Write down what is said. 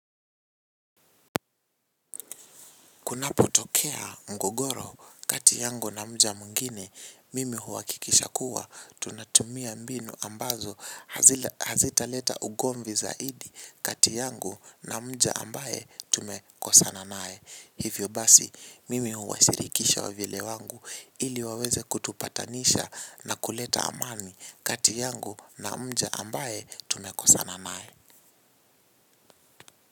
Kunapo tokea mgogoro kati yangu na mja mwngine mimi huakikisha kuwa tunatumia mbinu ambazo hazita leta ugomvi zaidi kati yangu na mja ambaye tumekosana nae hivyo basi mimi huwashirikisha wavyele wangu ili waweze kutupatanisha na kuleta amani kati yangu na mja ambaye tumekosana naye.